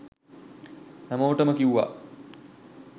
හැමෝටම කිව්ව